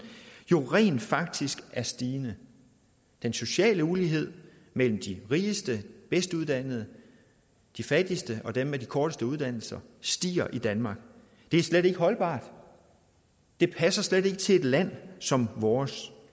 jo rent faktisk er stigende den sociale ulighed mellem de rigeste og bedst uddannede de fattigste og dem med de korteste uddannelser stiger i danmark det er slet ikke holdbart det passer slet ikke til et land som vores